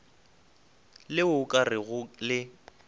le o ka rego le